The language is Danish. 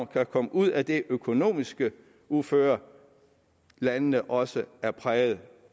kan komme ud af det økonomiske uføre landene også er præget